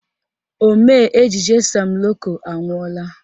Omee ejije Sam Loco anwụọla